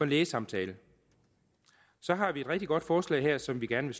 lægesamtale så har vi et rigtig godt forslag her som vi gerne